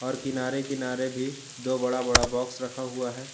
और किनारे किनारे भी दो बड़ा बड़ा बॉक्स रखा हुआ है।